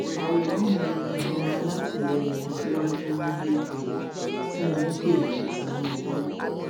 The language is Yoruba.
àwòrán mi ni àwọn alátìlẹyìn aṣíwájú ń gbé kiri tí wọn ń pè ní tinubu